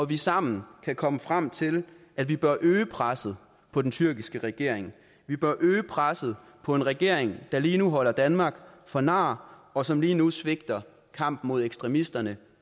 vi sammen kan komme frem til at vi bør øge presset på den tyrkiske regering vi bør øge presset på en regering der lige nu holder danmark for nar og som lige nu svigter kampen mod ekstremisterne